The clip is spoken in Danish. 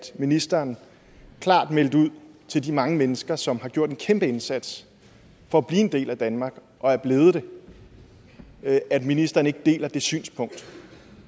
ministeren klart meldte ud til de mange mennesker som har gjort en kæmpeindsats for at blive en del af danmark og er blevet det at ministeren ikke deler det synspunkt